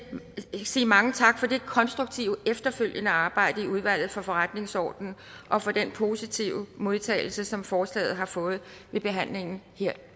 sige mange tak for det konstruktive efterfølgende arbejde i udvalget fra forretningsordenen og for den positive modtagelse som forslaget har fået ved behandlingen her